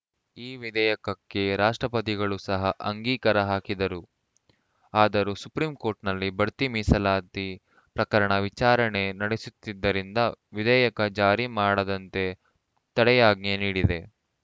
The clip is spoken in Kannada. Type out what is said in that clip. ಈ ವಿಧೇಯಕಕ್ಕೆ ರಾಷ್ಟ್ರಪತಿಗಳೂ ಸಹ ಅಂಗೀಕಾರ ಹಾಕಿದ್ದರು ಆದರೂ ಸುಪ್ರೀಂಕೋರ್ಟ್‌ನಲ್ಲಿ ಬಡ್ತಿ ಮೀಸಲಾತಿ ಪ್ರಕರಣ ವಿಚಾರಣೆ ನಡೆಸುತ್ತಿದ್ದರಿಂದ ವಿಧೇಯಕ ಜಾರಿ ಮಾಡದಂತೆ ತಡೆಯಾಜ್ಞೆ ನೀಡಿದೆ